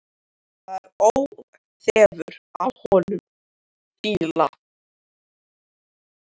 Það er óþefur af honum fýla!